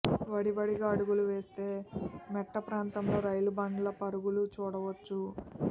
వడివడిగా అడుగులు వేస్తే మెట్టప్రాంతంలో రైలు బండ్ల పరుగులు చూడవచ్చు